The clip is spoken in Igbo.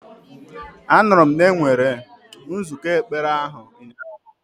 Anụrụ m na enwere nzụkọ ekpere ahụ ụnyahụ.